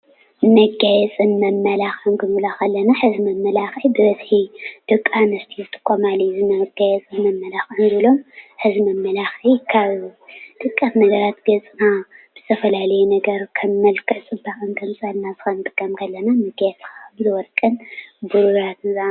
መጋየፂን መመላኽዕን ኽንብል ከለና ሐዚ መመላኽዒ ብበዝሒ ደቂ ኣንስትዮ ዝጥቀማሉ እዩ። ኣብ ገፅና እንጥቀመሉ ብዝተፈላለዩ ነገራት ከም መልክዕ ፅባቀ እንወስዶ እዩ።